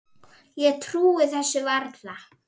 Ég trúi þessu varla.